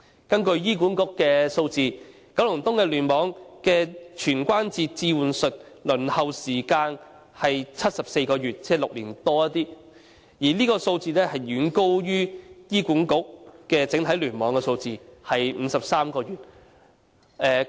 根據醫管局的數字，九龍東聯網的全關節置換手術的輪候時間是74個月，即超過6年，這數字遠高於醫管局整體聯網的數字，即53個月。